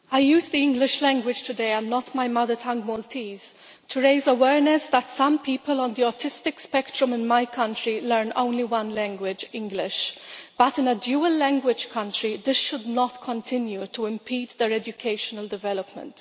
I use the English language today, not my mother tongue, Maltese, to raise awareness that some people on the autistic spectrum in my country learn only one language English but in a dual language country this should not continue to impede their educational development.